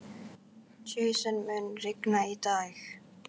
Jason, mun rigna í dag?